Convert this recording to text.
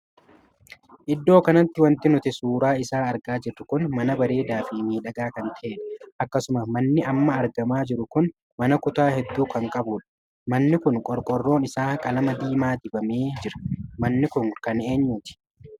Iddoo kanatti wanti nuti suuraa isaa argaa jiru kun mana bareedaa fi miidhagaa kan tahedha. akkasuma manni amma argamaa jiru kun mana kutaa hedduu kan qabudha. manni kun qorqorroon isaa qalama diimaa dibamee jira. manni kun kan eenyuti?